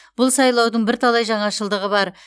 бұл сайлаудың бірталай жаңашылдығы бар